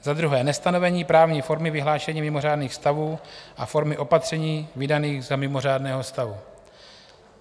Za druhé nestanovení právní formy vyhlášení mimořádných stavů a formy opatření vydaných za mimořádného stavu.